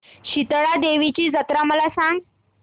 शितळा देवीची जत्रा मला सांग